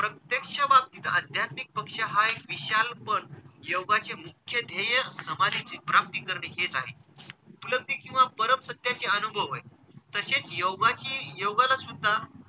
अध्यक्ष बाबतीत आध्यत्मिक पक्ष हा एक विशाल पण योगाचे मुख्य ध्येय समाधीची प्राप्ती करणे हेच आहे. उपलब्धी किंवा परम सत्याचे अनुभव होय. तसेच योगाची योगाला सुद्धा,